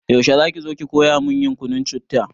Yaushe zaki zo ki koya mun yin kunun citta?